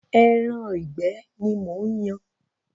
Ẹran ìgbẹ́ ni mò ń yan.